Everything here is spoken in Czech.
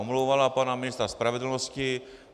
Omlouvala pana ministra spravedlnosti.